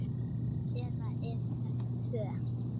Eða eru þetta tvö?